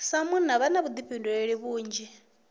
sa munna vha na vhuḓifhinduleli vhunzhi